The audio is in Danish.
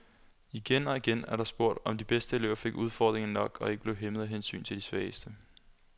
Igen og igen er der spurgt, om de bedste elever fik udfordringer nok og ikke blev hæmmet af hensynet til de svageste.